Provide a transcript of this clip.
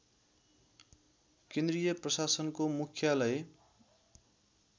केन्द्रीय प्रशासनको मुख्यालय